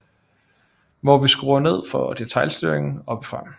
Hvor vi skruer ned for detailstyring oppefra